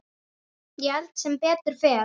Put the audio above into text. Ég held sem betur fer.